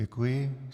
Děkuji.